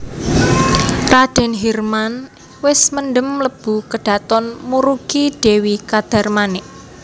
Radèn Hirman wis mendhem mlebu kedhaton murugi Dèwi Kadarmanik